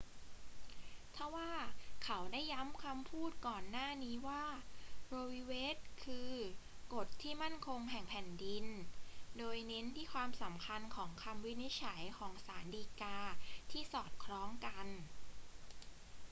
ทว่าเขาได้ย้ำคำพูดก่อนหน้านี้ว่า โร วี เวด คือ กฎที่มั่นคงแห่งแผ่นดิน โดยเน้นที่ความสำคัญของคำวินิจฉัยของศาลฎีกาที่สอดคล้องกัน